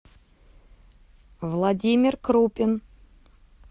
владимир крупин